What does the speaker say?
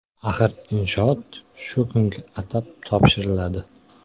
Axir inshoot shu kunga atab topshiriladi.